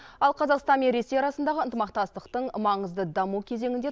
ал қазақстан мен ресей арасындағы ынтымақтастықтың маңызды даму кезеңінде